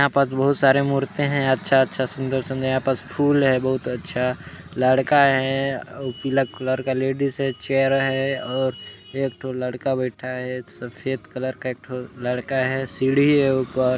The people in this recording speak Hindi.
यहाँ पास बहुत सारे मूर्ते है अच्छा-अच्छा सुंदर-सुंदर यहाँ पास फुल है बहुत अच्छा लड़का है अउ पीला कलर का लेडीज है चेयर है और एक ठो लड़का बैठा है सफेद कलर का एक ठो लड़का है सीढ़ी है ऊपर--